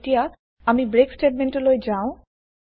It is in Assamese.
এতিয়া আমি ব্রেক স্তেতমেন্ত টো লৈ যাওঁ